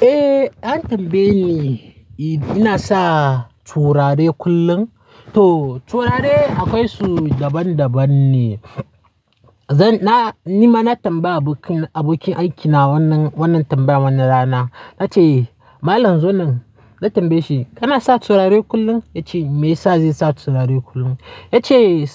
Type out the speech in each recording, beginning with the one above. Eh an tambaye ni idan ina sa turare kullum. To turare akwai su daban-daban ne. Zan-- ni ma na tambaya abokin, abokin aikina wannan, wannan tambayar wannan rana. Na ce malam Zunnun, na tambaye shi "Kana sa turare kullum?" Ya ce me yasa zan sa turare kullum. Ya ce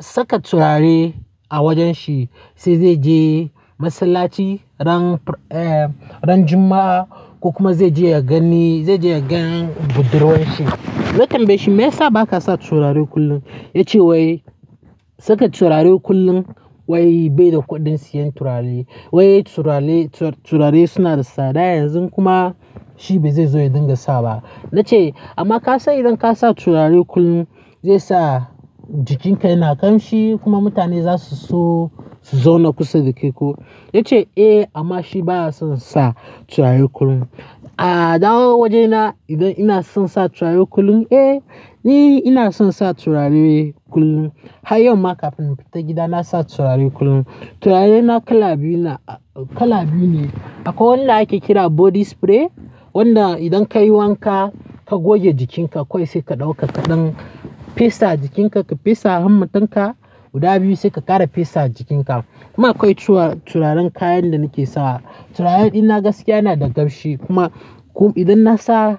saka turare a wajen shi sai zai je masallaci ran, eh ran Juma'a kuma zai je ya gani, zai je ya gani budurwan shi. Na tambaye shi me yasa ba ka sa turare kullum? Ya ce wai saka turare kullum wai bai da kuɗin siyan turare. Wai turare, turare suna da tsada yanzu kuma shi bai zai zo ya dinga sa ba. Na ce amma ka san idan ka sa turare kullum zai sa jikinka yana ƙamshi kuma mutane za su so su zauna kusa da kai ko. Ya ce eh amma shi ba ya son sa turare kullum. A'a, da waje ina idan ina son sa turare kullum, eh ni ina son sa turare kullum. Har yau ma kafin in fita gida na sa turare kullum. Turare na kala biyu na, kala biyu ne. Akwai wanda ake kira body spray wanda idan ka yi wanka ka goge jikinka kawai sai ka ɗauka kaɗan fesa jikinka, ka fesa hannun ka guda biyu sai ka ƙara fesa jikinka. Kuma akwai turaren kayan da nake sawa. Turaren ina gaskiya yana da ƙarfi kuma idan na sa,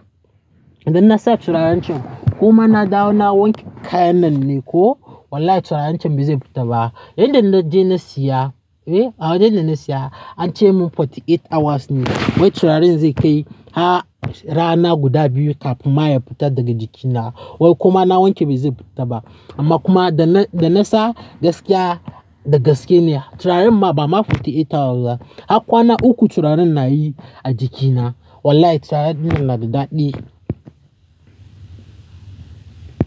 idan na sa turaren can ko ma na dawo na wanke kayan nan ne ko wallahi turaren can bai zai fita ba. Inda na je na siya, eh a wajen da na siya an ce mun forty eight hours ne wai turaren zai kai. Har rana guda biyu kafin ma ya fita daga jikina. Wai kuma na wanke bai zai fita ba. Amma kuma da na, da na sa gaskiya da gaske ne turaren ma ba ma forty eight hours ba. Har kwana uku turaren na yi a jikina. Wallahi turaren nan na da daɗi.